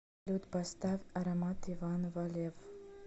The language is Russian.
салют поставь аромат иван валеев